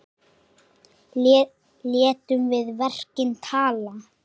Létum við verkin tala.